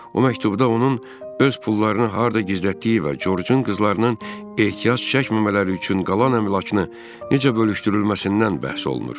O məktubda onun öz pullarını harda gizlətdiyi və Corcun qızlarının ehtiyac çəkməmələri üçün qalan əmlakını necə bölüşdürülməsindən bəhs olunur.